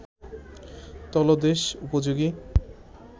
তলদেশ উপযোগী